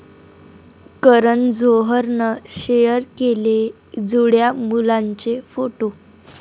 करण जोहरनं शेअर केले जुळ्या मुलांचे फोटो